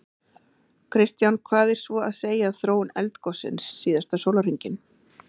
Kristján: Hvað er svo að segja af þróun eldgossins síðasta sólarhringinn?